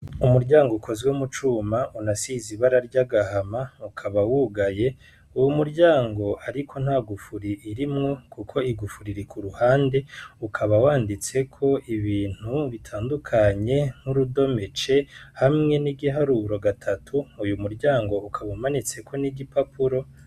Umuryango ukozwe mucuma unasize ibara ry'agahama ukaba wugaye, uwo muryango ariko nta gufuri irimwo kuko igufuri iri kuruhande ukaba wanditseko ibintu bitandukanye nk'urudome c hamwe n'igiharuro gatatu, uyu muryango ukaba umanitseko n'igipapuro.